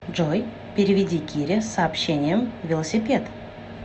джой переведи кире с сообщением велосипед